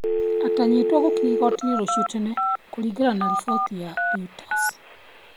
Aatanyĩtwo gũkinya igooti-inĩ rũciũ tene, kũringana na riboti cia Reuters.